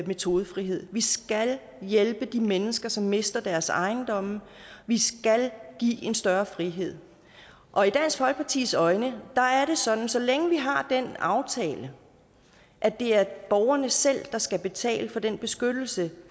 metodefrihed vi skal hjælpe de mennesker som mister deres ejendom vi skal give en større frihed og i dansk folkepartis øjne er det sådan at så længe vi har den aftale at det er borgerne selv der skal betale for den beskyttelse